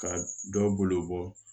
Ka dɔ bolo bɔ